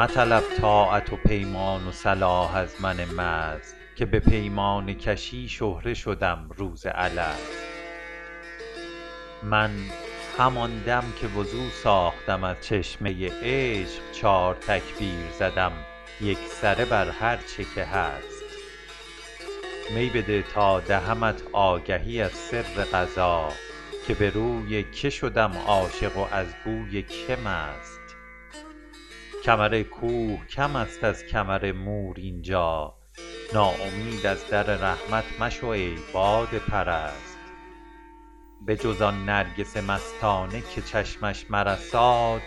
مطلب طاعت و پیمان و صلاح از من مست که به پیمانه کشی شهره شدم روز الست من همان دم که وضو ساختم از چشمه عشق چار تکبیر زدم یکسره بر هرچه که هست می بده تا دهمت آگهی از سر قضا که به روی که شدم عاشق و از بوی که مست کمر کوه کم است از کمر مور اینجا ناامید از در رحمت مشو ای باده پرست بجز آن نرگس مستانه که چشمش مرساد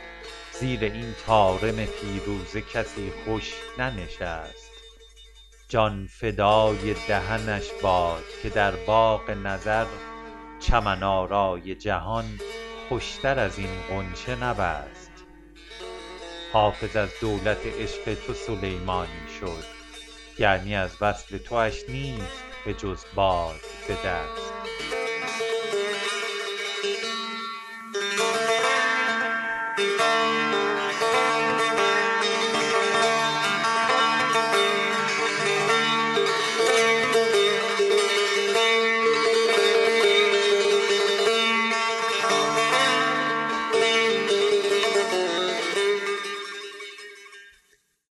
زیر این طارم فیروزه کسی خوش ننشست جان فدای دهنش باد که در باغ نظر چمن آرای جهان خوشتر از این غنچه نبست حافظ از دولت عشق تو سلیمانی شد یعنی از وصل تواش نیست بجز باد به دست